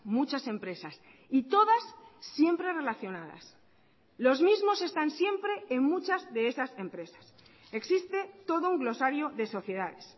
muchas empresas y todas siempre relacionadas los mismos están siempre en muchas de esas empresas existe todo un glosario de sociedades